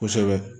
Kosɛbɛ